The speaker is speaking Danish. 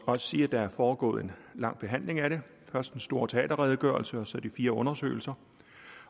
også sige at der er foregået en lang behandling af det først den store teaterredegørelse og så de fire undersøgelser